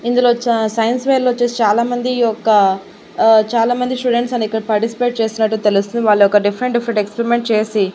ఇందులో వచ్చా science fair లో వొచ్చేసి చాలా మంది యొక్క ఆ చాలా మంది స్టూడెంట్స్ అని ఇక్కడ పార్టిసిపేట్ చేస్తున్నట్టు తెలుస్తుంది. వాళ్ళొక డిఫరెంట్ డిఫరెంట్ ఎక్స్పరిమెంట్ చేసి --